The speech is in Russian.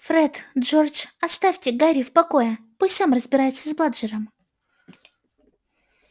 фред джордж оставьте гарри в покое пусть сам разбирается с бладжером